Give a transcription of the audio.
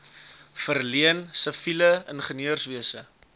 verleen siviele ingenieurswese